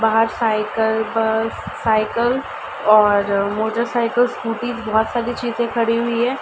बाहर cycle bus cycle और motorcycle scooty बोहोत सारी चीजे खड़ी हुई है।